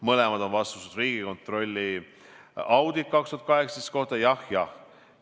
Mõlemal on vastus Riigikontrolli auditis 2018. aasta kohta jah, jah.